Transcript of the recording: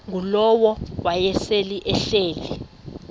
ngulowo wayesel ehleli